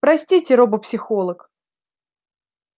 простите робопсихолог